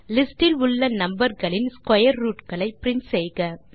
list இல் உள்ள number களின் ஸ்க்வேர் ரூட் களை பிரின்ட் செய்க